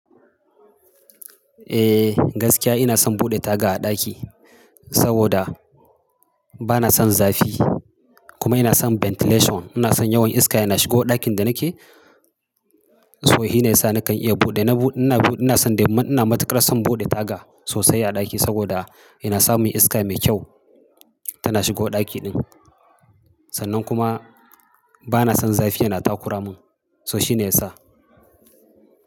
Eh gaskiya ina son buɗe taga a ɗaki saboda bana son zafi kuma ina son ventilation. Ina son yawan iska yana shigo ɗakin da nake, so shi ne ya sa nakan iya buɗe. Ina buɗe, ina buɗe, ina son dai ina matuƙar son buɗe taga sosai a ɗaki saboda yana sa mun iska mai kyau tana shigo ɗaki ɗin. Sannan kuma bana son zafi yana takura mun, so shi ne ya sa.